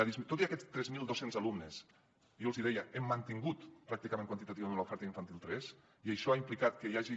tot i aquests tres mil dos cents alumnes jo els hi deia hem mantingut pràcticament quantitativament l’oferta d’infantil tres i això ha implicat que hi hagi